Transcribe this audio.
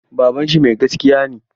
Babanshi mai gaskiya ne.